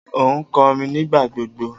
O nkorin nigbagbogbo